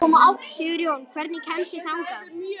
Sigurjón, hvernig kemst ég þangað?